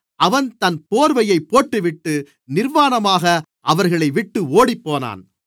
அவன் தன் போர்வையைப் போட்டுவிட்டு நிர்வாணமாக அவர்களைவிட்டு ஓடிப்போனான்